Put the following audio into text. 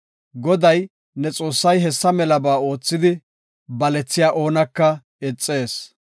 Goday ne Xoossay hessa melaba oothidi, balethiya oonaka ixees.